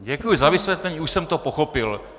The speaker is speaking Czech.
Děkuji za vysvětlení, už jsem to pochopil.